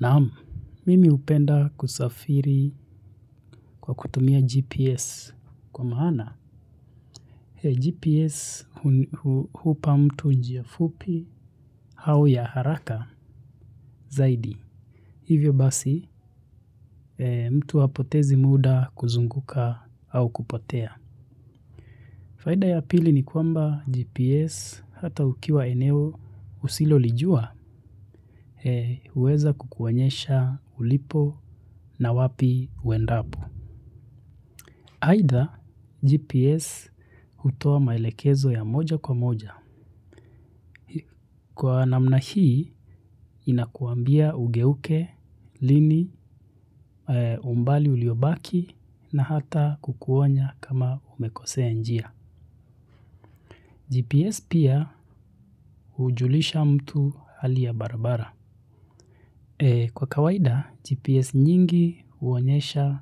Naam mimi hupenda kusafiri kwa kutumia gps kwa maana GPS hupa mtu njiafupi hau ya haraka zaidi. Hivyo basi mtu apotezi muda kuzunguka au kupotea. Faida ya pili ni kwamba GPS hata ukiwa eneo usilo lijua uweza kukuonyesha ulipo na wapi uendapo. Haida, GPS hutoa maelekezo ya moja kwa moja. Kwa namna hii, inakuambia ugeuke, lini, umbali uliobaki, na hata kukuonya kama umekosea njia. GPS pia ujulisha mtu hali ya barabara. Kwa kawaida, GPS nyingi uonyesha